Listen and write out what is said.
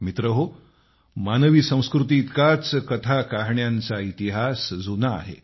मित्रहो मानवी संस्कृतीइतकाच कथाकहाण्यांचा इतिहास जुना आहे